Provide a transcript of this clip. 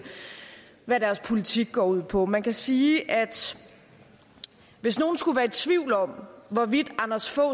hvad deres politik går ud på man kan sige at hvis nogen skulle være i tvivl om hvorvidt anders fogh